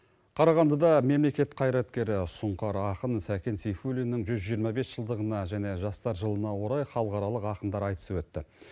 қарағандыда мемлекет қайраткері сұңқар ақын сәкен сейфулиннің жүз жиырма бес жылдығына және жастар жылына орай халықаралық ақындар айтысы өтті